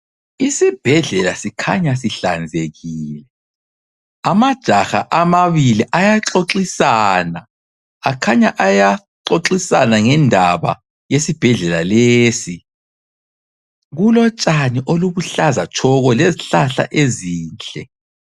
Isibhedlela sikhanya sihlanzekile. Amajaha amabili ayaxoxisana akhanya ayaxoxisana ngendaba yesibhedlela lesi. Kulotshani olubuhlaza tshoko lezihlahla ezinhle.